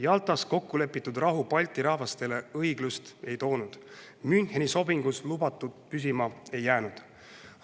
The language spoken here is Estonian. Jaltas kokku lepitud rahu Balti rahvastele õiglust ei toonud, Müncheni sobingus lubatu püsima ei jäänud.